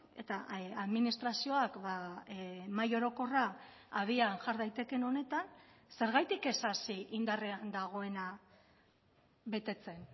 eta administrazioak mahai orokorra abian jar daitekeen honetan zergatik ez hasi indarrean dagoena betetzen